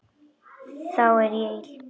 Þá er ég ill.